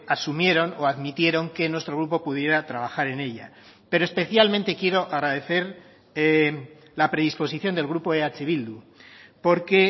asumieron o admitieron que nuestro grupo pudiera trabajar en ella pero especialmente quiero agradecer la predisposición del grupo eh bildu porque